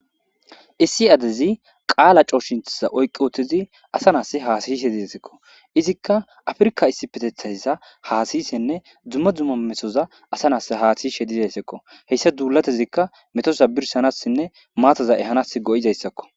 Issi adezi qala coahshinchiza oyqi utidi asa nass hasayishshe des izikka afirka isipeteththaza hasayishshenne dumma dumma metoza asa nas hasayizayssakko haysa dulatizikka metoza birshshanasine maataza ehanas go'izaysako